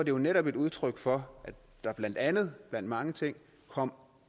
jo netop et udtryk for at der blandt andet blandt mange ting kom